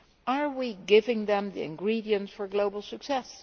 Are we giving them the ingredients for global success?